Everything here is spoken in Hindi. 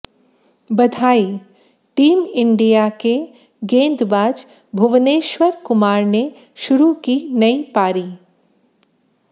बधाईः टीम इंडिया के गेंदबाज भुवनेश्वर कुमार ने शुरू की नई पारी